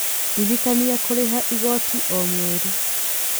Ndirikania kũrĩha igooti o mweri.